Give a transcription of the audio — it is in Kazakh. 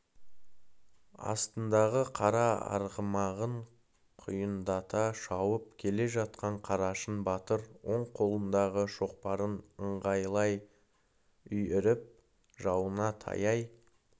астындағы қара арғымағын құйындата шауып келе жатқан қарашың батыр оң қолындағы шоқпарын ыңғайлай үйіріп жауына таяй